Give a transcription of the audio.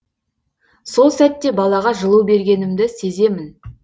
сол сәтте балаға жылу бергенімді сеземін